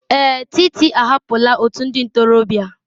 Èè, Títí ahapụla òtù ndị ntorobịa.